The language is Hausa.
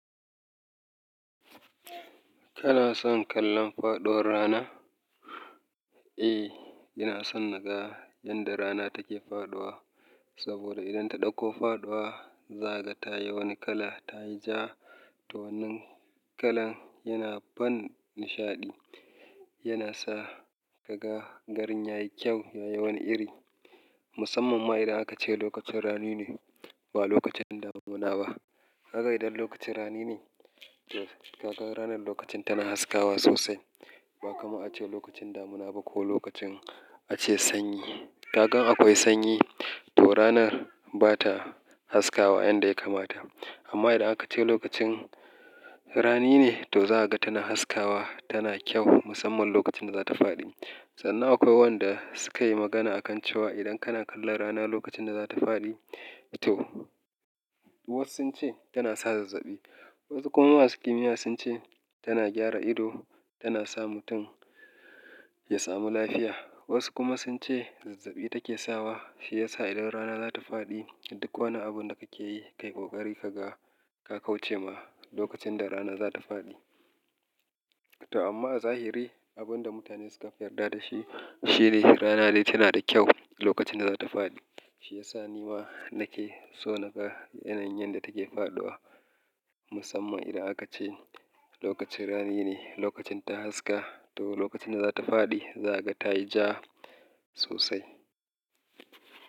Kana son kallon faɗuwar rana? Eh, ina son naga yanda rana take faɗuwa. Saboda idan ta ɗauko faɗuwa, za ka tayi wani kala ta yi ja, to wannan kalan yana ban nishaɗi. Yana sa ka ga garin yayi kyau, yayi wani iri. Musamman ma idan aka ce lokacin rani ne ba lokacin damuna ba. Kaga idan lokacin rani ne, to kaga ranar lokacin tana haskawa sosai. Ba kamar aka ce lokacin damuna ba ko lokacin ace sanyi. Kaga in akwai sanyi, to ranar ba ta haskawa yanda ya kamata. Amma idan aka ce lokacin rani ne, to za ka ga tana haskawa, tana kyau musamman lokacin da za ta faɗi. Sannan akwai wanda suka yi magana a kan cewa idan kana kallon rana lokacin da za ta faɗi, to wasu sun ce tana sa zazzaɓi. Wasu kuma masu kimiyya sun ce tana gyara ido, tana sa mutum ya samu lafiya. Wasu kuma sun ce zazzaɓi take sawa. Shi yasa idan rana za ta faɗi, duk wani abun da kake yi, ka yi ƙoƙari ka ga ka kauce ma lokacin da rana za ta faɗi. To amma a zahiri abun da mutane suka fi yarda da shi shine rana dai tana da kyau lokacin da za ta faɗi. Shi ya sa ni ma nake so naga yanayin yanda take faɗuwa. Musamman idan aka ce lokacin rani ne, lokacin ta haska to lokacin da za ta faɗi, za ga tayi ja sosai.